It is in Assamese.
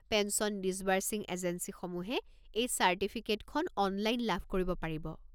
পেঞ্চন ডিছবাৰ্চিং এজেঞ্চীসমূহে এই চাৰ্টিফিকেটখন অনলাইন লাভ কৰিব পাৰিব।